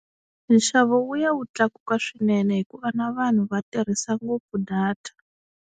Nxavo wu ya wu tlakuka swinene hikuva na vanhu va tirhisa ngopfu data.